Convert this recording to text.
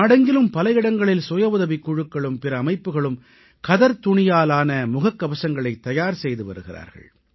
நாடெங்கிலும் பல இடங்களில் சுய உதவிக் குழுக்களும் பிற அமைப்புகளும் கதர்த் துணியாலான முகக் கவசங்களைத் தயார் செய்து வருகிறார்கள்